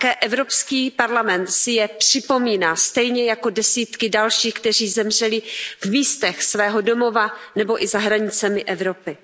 Také Evropský parlament si je připomíná stejně jako desítky dalších, kteří zemřeli v místech svého domova nebo i za hranicemi Evropy.